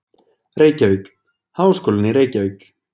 Reykjavík: Háskólinn í Reykjavík.